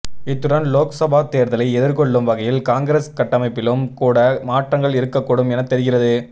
இத்துடன் லோக்சபா தேர்தலை எதிர்கொள்ளும் வகையில் காங்கிரஸ் கட்டமைப்பிலும் கூட மாற்றங்கள் இருக்கக் கூடும் எனத் தெரிகிறது